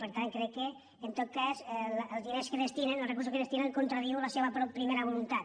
per tant crec que en tot cas els diners que hi destinen els recursos que hi des·tinen contradiuen la seva primera voluntat